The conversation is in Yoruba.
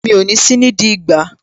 Mi ò ní sí nídìí ìgbá